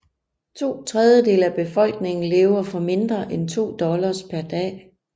To tredjedele af befolkningen lever for mindre end to dollars per dag